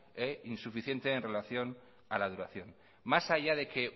insuficiente en relación a la duración más allá de que